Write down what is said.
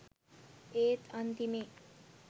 ඒත් අන්තිමේ